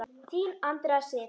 Þín, Andrea Sif.